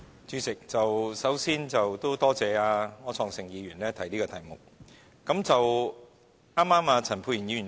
主席，首先，多謝柯創盛議員提出這項議案。